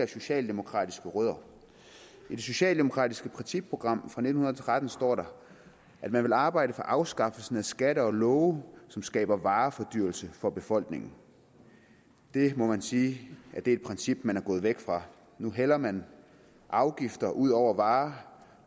socialdemokratiske rødder i det socialdemokratiske principprogram fra nitten tretten står der at man vil arbejde for afskaffelsen af skatter og love som skaber varefordyrelse for befolkningen det må man sige er et princip man er gået væk fra nu hælder man afgifter ud over varer